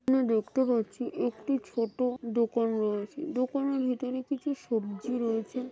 এনে দেখতে পাচ্ছি একটি ছোট দোকান রয়েছে দোকানে ভেতরে কিছু সবজি রয়েছে।